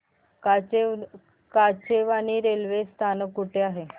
Kachewani railway स्थानक कुठे आहे